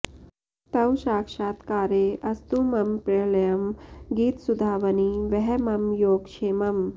तव साक्षात्कारे अस्तु मम प्रलयं गीतसुधावनि वह मम योगक्षेमम्